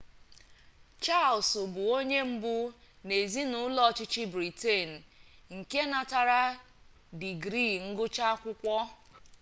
charles bụ onye mbụ n'ezinụlọ ọchịchị britain nke natara digrii ngụcha akwukwo